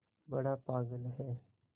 बड़ा पागल है